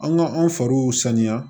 An ka anw fariw sanuya